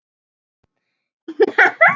Duga smokkar alltaf?